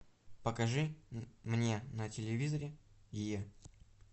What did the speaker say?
покажи мне на телевизоре е